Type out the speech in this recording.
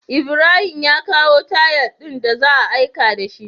Ibrahim ya kawo tayal din da za'ayi aiki dashi